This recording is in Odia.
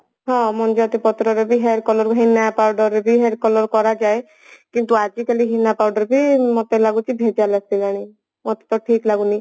ହଁ ମଞ୍ଜୁଆତି ପତ୍ରରେ ବି hair color ହେନା powder ରେ ବି hair color କରାଯାଏ କିନ୍ତୁ ଆଜିକାଲି ହେନା powder ବି ଲାଗୁଛି ଭେଜାଲ ଆସିଲାଣି ମତେ ତ ଠିକ ଲାଗୁନି